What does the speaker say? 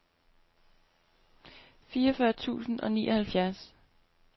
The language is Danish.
fireogfyrre tusind og nioghalvfjerds